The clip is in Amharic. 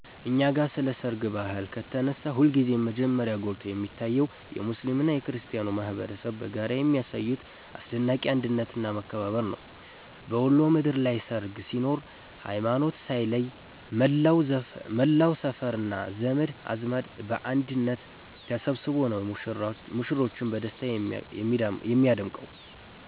እኛ ጋ ስለ ሰርግ ባህል ከተነሳ ሁልጊዜም መጀመሪያ ጎልቶ የሚታየው የሙስሊሙና የክርስቲያኑ ማኅበረሰብ በጋራ የሚያሳዩት አስደናቂ አንድነትና መከባበር ነው። በወሎ ምድር ላይ ሰርግ ሲኖር ሃይማኖት ሳይለይ መላው ሰፈርና ዘመድ አዝማድ በአንድነት ተሰብስቦ ነው ሙሽሮችን በደስታ የሚያደምቀው።